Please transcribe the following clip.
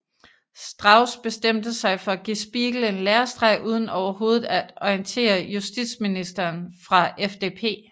Strauß bestemte sig for at give Spiegel en lærestreg uden overhovedet at orientere justitsministeren fra FDP